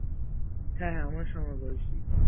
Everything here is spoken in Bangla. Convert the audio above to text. হ্যাঁ হ্যাঁ আমার সমবয়সী